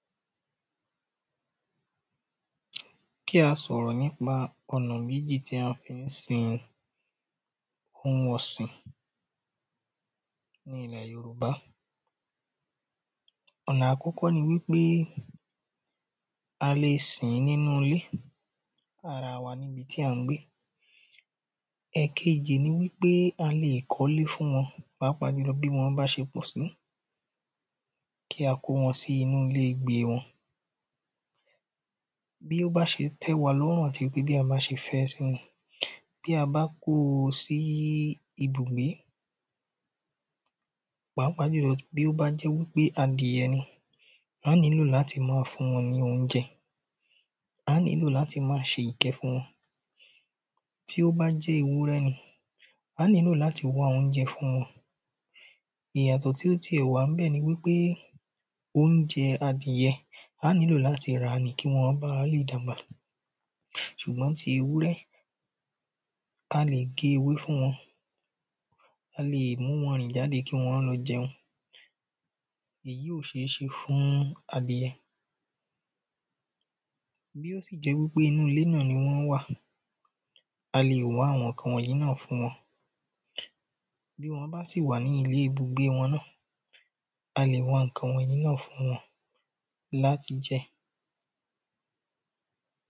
Kí a sò̩rò̩ nípa ò̩nà méjì tí a fi ń sin ohun ò̩sìn ní ilè̩ Yorùbá. Ò̩nà àkó̩kó̩ ni wípé a lè sìn-ín nínú ilé ara wa tí à ń gbé. È̩kejì ní wípé a lè kó̩lé fún wo̩n pàápàá jùlo̩ bí wó̩n bá se pò̩ sí. Kí á kó wo̩n sí inú iléegbe wo̩n. Bí ó bá s̩e té̩ wa ló̩rùn àti pé bí a bá s̩e fé̩ e̩ sí ni. Bí a bá kó o sí ibùgbé, pàápàá jùlo̩ bí ó bá jé̩ wípé adìe̩ ni, a nílò láti fún wo̩n ní oúnje̩. Á nílò láti má a s̩e ìké̩ fún wo̩n. Tí ó bá jé̩ pé ewúré̩ ni, a nílò láti wá oúnje̩ fún wo̩n. Ìyàtò̩ tí ó ti è̩ wà níbè̩ ni wípé oúnje̩ adìe̩, a nílò láti rà á ni kí wo̩n bá le dàgbà. Sùgbó̩n ti ewúré̩, a lè gé ewé fún wo̩n. A lè mú wo̩n rìn jáde lo̩ kí wó̩n lo̩ je̩un. Èyí ò s̩é s̩e fún adìre̩. Bí ó sì jé̩ wípé inú ilé náà ni wó̩n wà, a lè wá àwo̩n ǹkan wò̩nyí náà fún wo̩n. Bí wó̩n bá sì wà ní ilé ibùgbé náà, a lè wá ǹkan wò̩nyí náà fún wo̩n láti je̩.